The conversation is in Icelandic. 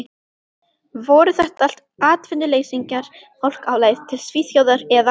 Voru þetta allt atvinnuleysingjar, fólk á leið til Svíþjóðar eða